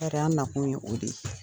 Ne yɛrɛ, an' nakun ye o de ye.